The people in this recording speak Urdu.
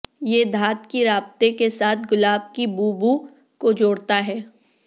یہ دھات کی رابطے کے ساتھ گلاب کی بو بو کو جوڑتا ہے